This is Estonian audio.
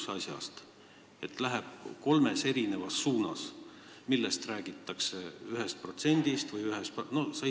See, millest räägitakse, läheb kolmes erinevas suunas, kas 1%-st või millestki muust.